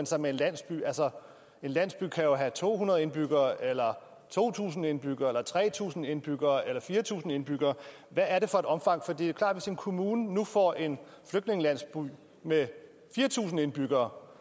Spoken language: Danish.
sig med en landsby altså en landsby kan jo have to hundrede indbyggere eller to tusind indbyggere eller tre tusind indbyggere eller fire tusind indbyggere hvad er det for et omfang for det er klart en kommune nu får en flygtningelandsby med fire tusind indbyggere